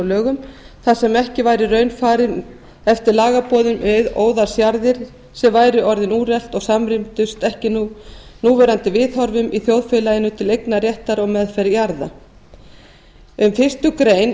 lögum þar sem ekki væri í raun farið eftir lagaboðum um óðalsjarðir sem væru orðin úrelt og samrýmdust ekki núverandi viðhorfum í þjóðfélaginu til eignarréttar og meðferðar jarða í fyrstu